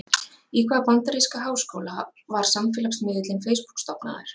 Í hvaða bandaríska háskóla var samfélagsmiðillinn Facebook stofnaður?